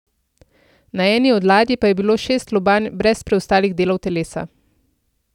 Na eni od ladij pa je bilo šest lobanj brez preostalih delov telesa.